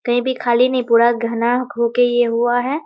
कहीं भी खाली नहीं पूरा घना होके यह हुआ है ।